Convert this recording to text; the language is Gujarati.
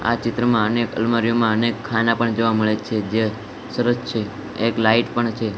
આ ચિત્રમાં અનેક અલમારીયોમાં અનેક ખાના પણ જોવા મળે છે જે સરસ છે એક લાઈટ પણ છે.